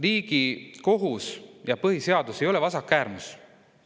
Riigikohus ja põhiseadus ei ole vasakäärmus.